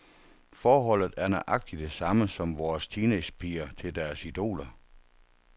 Forholdet er nøjagtig det samme som vores teenagepigers til deres idoler.